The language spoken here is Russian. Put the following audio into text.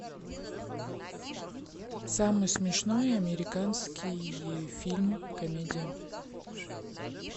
самый смешной американский фильм комедия